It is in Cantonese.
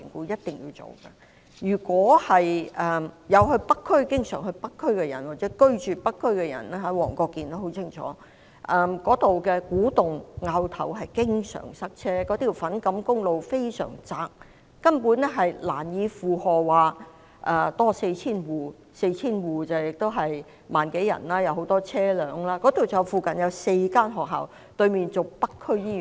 經常往北區或者住在北區的市民，例如黃國健議員，便很清楚，古洞和凹頭經常塞車，粉錦公路非常狹窄，根本難以負荷多 4,000 戶所需的很多車輛，況且附近有4所學校，對面是北區醫院。